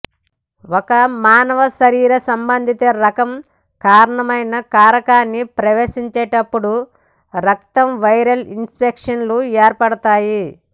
ఒక మానవ శరీరం సంబంధిత రకం కారణమైన కారకాన్ని ప్రవేశించేటప్పుడు రక్తం వైరల్ ఇన్ఫెక్షన్లు ఏర్పడతాయి